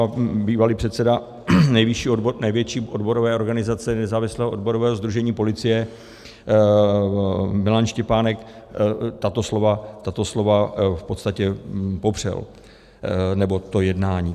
A bývalý předseda největší odborové organizace Nezávislého odborového sdružení policie Milan Štěpánek tato slova v podstatě popřel, nebo to jednání.